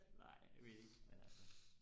nej jeg ved det ikke men altså